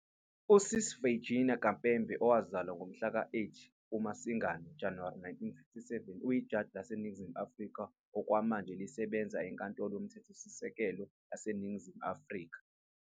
USisi Virginia Khampepe, owazalwa mhla ka-8 kuMasingana - Januwari 1957, uyijaji laseNingizimu Afrika okwamanje elisebenza eNkantolo yoMthethosisekelo yaseNingizimu Afrika.